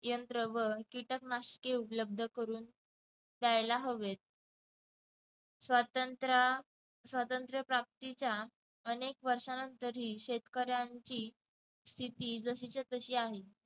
यंत्र व कीटकनाशके उपलब्ध करून द्यायला हवेत. स्वातंत्र्य स्वातंत्र्य प्राप्तीच्या अनेक वर्षांनंतरही शेतकऱ्यांची स्थिती जशीच्या तशी आहे